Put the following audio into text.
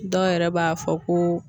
Dɔw yɛrɛ b'a fɔ ko